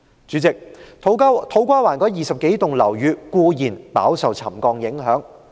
主席，土瓜灣那20多幢樓宇固然飽受沉降影響。